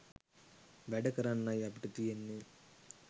වැඩ කරන්නයි අපිට තියෙන්නෙ.